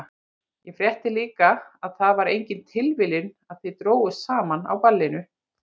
Ég frétti líka að það var engin tilviljun að þið drógust saman á ballinu.